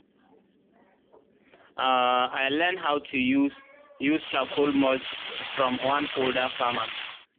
um i len how to use use charcoal mulch from one older farmer